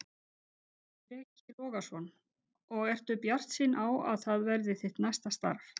Breki Logason: Og ertu bjartsýn á að, að það verði þitt næsta starf?